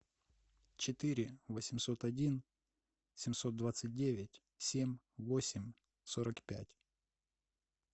четыре восемьсот один семьсот двадцать девять семь восемь сорок пять